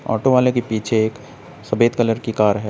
Auto वाले के पीछे एक सफेद कलर की कार है।